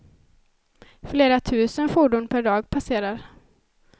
Flera tusen fordon per dag passerar.